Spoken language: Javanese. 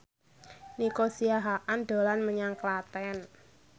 Nico Siahaan dolan menyang Klaten